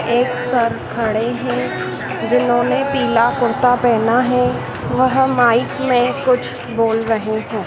एक सर खड़े हैं जिन्होंने पीला कुर्ता पहना है वह माइक में कुछ बोल रहे हैं।